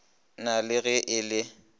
na le ge e le